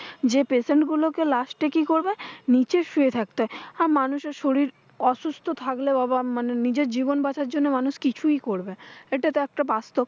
যে the patient গুলোকে last এ কি করবে? নিচে শুয়ে থাকতে হয়। আর মানুষের শরীর অসুস্থ থাকলেও আবার মানে, নিজের জীবন বাঁচানোর জন্য মানুষ কিছুই করবে, এটা তো একটা বাস্তব।